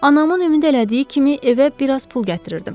Anamın ümid elədiyi kimi evə bir az pul gətirirdim.